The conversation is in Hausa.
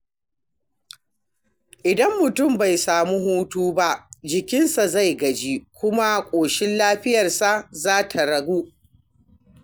Idan mutum bai sami hutu ba, jikinsa zai gaji kuma ƙoshin lafiyarsa zai ragu.